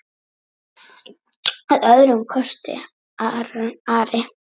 Að öðrum kosti Ari?